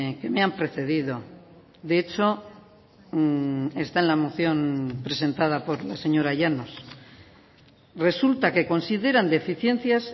que me han precedido de hecho está en la moción presentada por la señora llanos resulta que consideran deficiencias